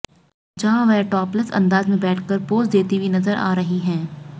जहां वह टॅापलेस अ्ंदाज में बैठकर पोज देती हुई नजर आ रही हैं